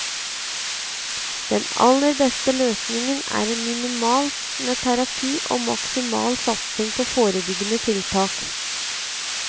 Den aller beste løsningen er minimalt med terapi og maksimal satsing på forebyggende tiltak.